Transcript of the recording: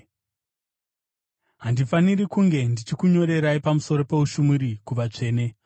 Handifaniri kunge ndichikunyorerai pamusoro poushumiri kuvatsvene.